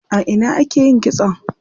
A ina ake yin kitson?